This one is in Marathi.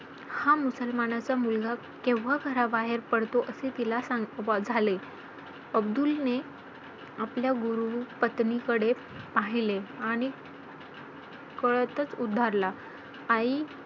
Covid च्या या lockdown मध्ये बऱ्याश्या अडचणी आल्या. नोकरी धंदा न असल्यामुळे गावी जावं लागलं.इकडे कामं कर तिकडे कामं कर. कामं करता करता पैश्याला पैसा जोडता जोडता आपल्या वडिलांना कुठे तरी मदत व्हावी